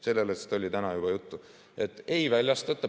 Sellest oli täna juba juttu, et ei väljastata.